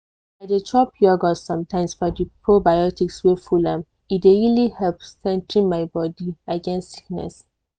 i dey chop yogurt sometimes for di probiotics wey full am e dey really strengthen my body against sickness.